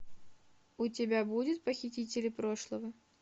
у тебя будет похитители прошлого